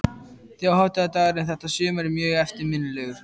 Þjóðhátíðardagurinn þetta sumar er mjög eftirminnilegur.